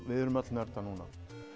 við erum öll nördar núna